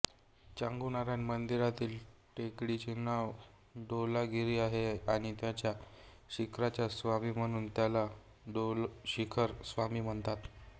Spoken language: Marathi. चांगुनारायण मंदिरातील टेकडीचे नाव डोलागिरी आहे आणि त्याच्या शिखराचा स्वामी म्हणून त्याला डोलशिखर स्वामी म्हणतात